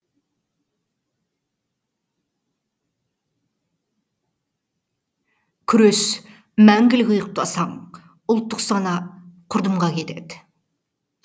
күрес мәңгілік ұйықтасаң ұлттық сана құрдымға кетеді